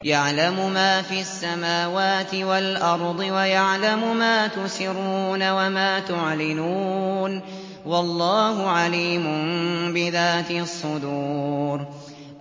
يَعْلَمُ مَا فِي السَّمَاوَاتِ وَالْأَرْضِ وَيَعْلَمُ مَا تُسِرُّونَ وَمَا تُعْلِنُونَ ۚ وَاللَّهُ عَلِيمٌ بِذَاتِ الصُّدُورِ